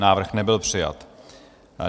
Návrh nebyl přijat.